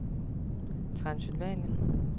Transylvanien